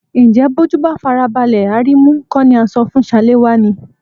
Ǹjẹ́ bójú bá farabalẹ̀ á rí imú kó ni à ń sọ fún Ṣaléwá ni?